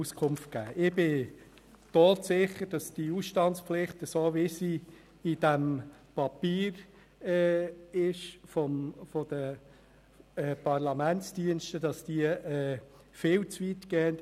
Ich bin todsicher, dass die Ausstandspflicht, wie sie im Papier der Parlamentsdienste dargestellt wird, viel zu weit geht.